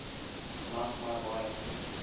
land maar baie